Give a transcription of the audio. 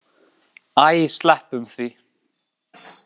Æ, sleppum því.